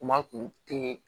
Kuma kun tɛ